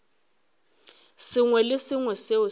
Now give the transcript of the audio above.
sengwe le se sengwe seo